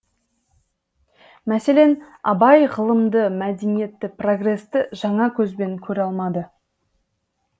мәселен абай ғылымды мәдениетті прогресті жаңа көзбен көре алмады